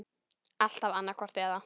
Alltaf annaðhvort eða.